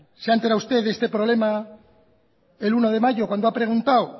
se ha enterado usted de este problema el uno de mayo cuando ha preguntado